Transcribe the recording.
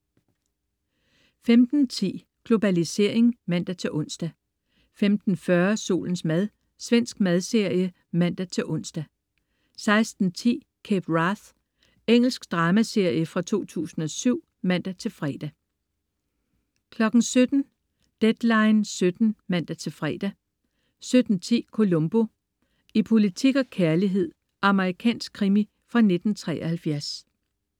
15.10 Globalisering (man-ons) 15.40 Solens mad. Svensk madserie (man-ons) 16.10 Cape Wrath. Engelsk dramaserie fra 2007 (man-fre) 17.00 Deadline 17:00 (man-fre) 17.10 Columbo: I politik og kærlighed. Amerikansk krimi fra 1973